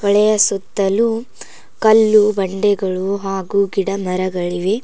ಹೊಳೆಯ ಸುತ್ತಲು ಕಲ್ಲು ಬಂಡೆಗಳು ಹಾಗು ಗಿಡ ಮರಗಳಿವೆ.